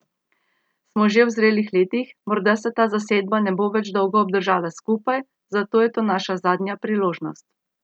Smo že v zrelih letih, morda se ta zasedba ne bo več dolgo obdržala skupaj, zato je to naša zadnja priložnost.